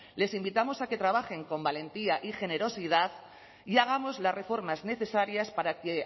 les invitamos a que trabajen con valentía y generosidad y hagamos las reformas necesarias para que